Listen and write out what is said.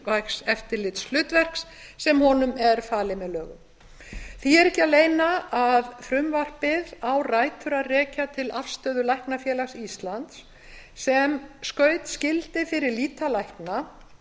mikilvægs eftirlitshlutverks sem honum er falið með lögum því er ekki að leyna að frumvarpið á rætur að rekja til afstöðu læknafélags íslands sem skaut skildi fyrir lýtalækna